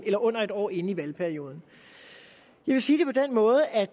under et år inde i valgperioden jeg vil sige det på den måde at